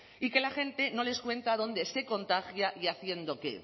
y que la gente no les cuenta dónde se contagia y haciendo qué